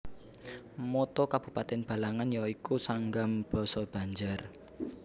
Motto Kabupatèn Balangan ya iku Sanggam basa Banjar